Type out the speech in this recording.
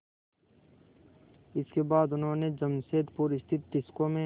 इसके बाद उन्होंने जमशेदपुर स्थित टिस्को में